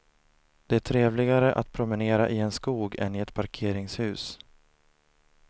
Det är trevligare att promenera i en skog än i ett parkeringshus.